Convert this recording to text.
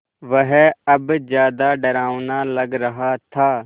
वह अब ज़्यादा डरावना लग रहा था